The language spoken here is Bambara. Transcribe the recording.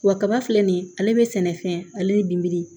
Wa kaba filɛ nin ye ale be sɛnɛfɛn ale ni binbiri